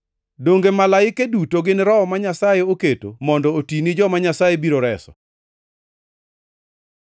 Donge malaike duto gin roho ma Nyasaye oketo mondo oti ni joma Nyasaye biro reso?